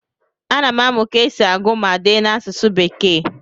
ana m amụ ka esi agụ ma dee n'asụsụ bekee